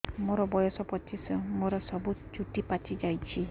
ମୋର ବୟସ ପଚିଶି ମୋର ସବୁ ଚୁଟି ପାଚି ଯାଇଛି